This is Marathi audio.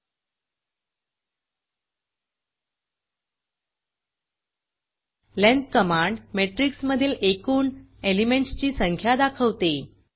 लेंग्थ लेंत कमांड मॅट्रिक्स मधील एकूण एलिमेंटसची संख्या दाखवते